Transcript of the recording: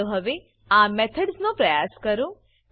ચાલો હવે આ મેથડ્સ નો પ્રયાસ કરો